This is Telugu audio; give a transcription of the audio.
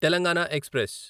తెలంగాణ ఎక్స్ప్రెస్